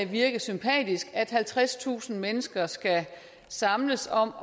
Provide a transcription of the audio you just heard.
virke sympatisk altså at halvtredstusind mennesker skal samles om